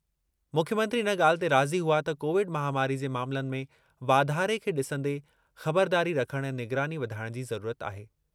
मुख्यमंत्री इन ॻाल्हि ते राज़ी हुआ त कोविड महामारी जे मामलनि में वाधारे खे डि॒संदे ख़बरदारी रखणु ऐं निगरानी वधाइणु जी ज़रूरत आहे।